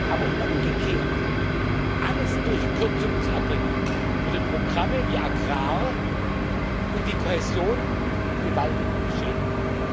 Aber umgekehrt alles durch Kürzungen zu erbringen, würde Programme wie Agrar und Kohäsion gewaltig beschädigen.